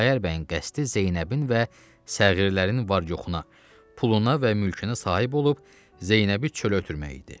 Xudayar bəyin qəsdi Zeynəbin və səğirlərin var-yoxuna puluna və mülkünə sahib olub, Zeynəbi çölə ötürmək idi.